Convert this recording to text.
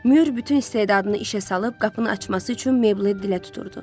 Mür bütün istedadını işə salıb qapını açması üçün Meyblə dilə tuturdu.